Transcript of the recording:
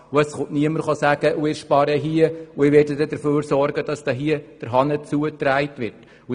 Niemand wird sagen, er wolle in einem bestimmten Bereich sparen und sorge dafür, dass da der Hahn zugedreht werde.